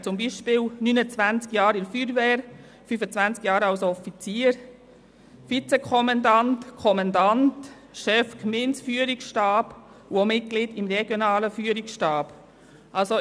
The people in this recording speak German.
Zum Beispiel gehörte er 29 Jahre der Feuerwehr an, 25 Jahre als Offizier, Vizekommandant, Kommandant, Chef des Gemeindeführungsstabs, und er war auch Mitglied des regionalen Führungsstabs.